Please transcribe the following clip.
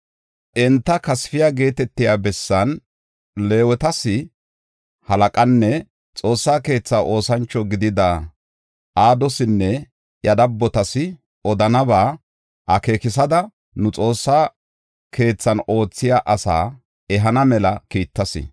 Enta Kasfiya geetetiya bessan Leewetas halaqanne Xoossa keetha oosancho gidida Adosinne iya dabotas odanaba akeekisada nu Xoossa keethan oothiya ase ehana mela kiittas.